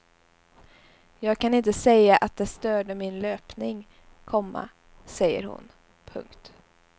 Jag kan inte säga att det störde min löpning, komma säger hon. punkt